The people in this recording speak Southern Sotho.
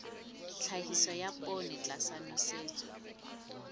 tlhahiso ya poone tlasa nosetso